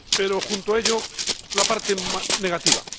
Pero, junto a ello, la parte negativa.